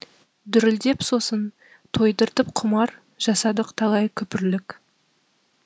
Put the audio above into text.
дүрілдеп сосын тойдыртып құмар жасадық талай күпірлік